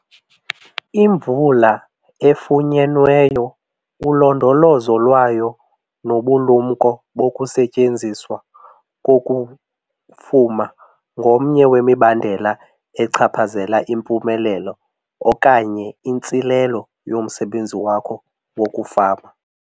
Imvula efunyenweyo, ulondolozo lwayo nobulumko bokusetyenziswa koku kufuma ngomnye wemibandela echaphazela impumelelo okanye intsilelo yomsebenzi wakho wokufama.